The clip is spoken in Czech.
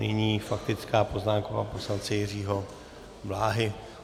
Nyní faktická poznámka pana poslance Jiřího Bláhy.